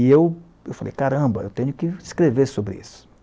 E eu eu falei, caramba, eu tenho que escrever sobre isso.